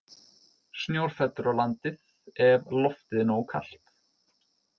Snjór fellur á landið ef loftið er nógu kalt.